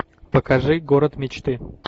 покажи город мечты